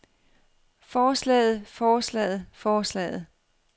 forslaget forslaget forslaget